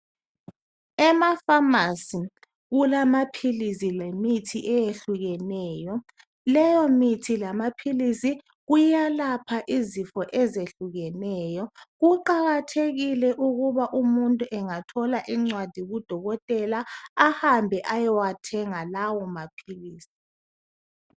Emafamasi, kulamaphilizi lemithi ehlukeneyo. Lehomithi lamaphilizi kuyalapha izifo ezihlukeneyo. Kuqakathekile ukuba umuntu engathola incwadi kudokotela, ahambe ayewathenga lawo maphilisi.